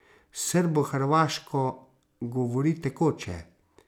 Srbohrvaško govori tekoče.